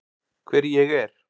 Hver ég er.